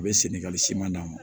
A bɛ senni ka siman d'a ma